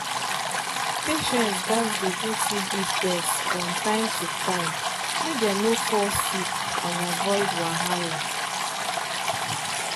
patients gats dey do tb test from time to time make dem no fall sick and avoid wahala.